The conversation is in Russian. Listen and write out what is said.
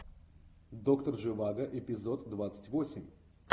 доктор живаго эпизод двадцать восемь